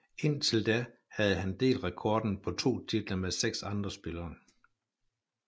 Indtil da havde han delt rekorden på to titler med seks andre spillere